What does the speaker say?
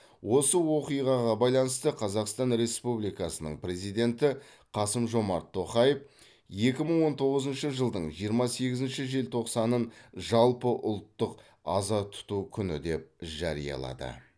осы оқиғаға байланысты қазақстан республикасының президенті қасым жомарт тоқаев екі мың он тоғызыншы жылдың жиырма сегізінші желтоқсанын жалпыұлттық аза тұту күні деп жариялады